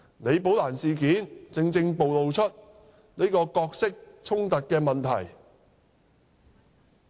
李寶蘭事件正正暴露角色衝突的問題。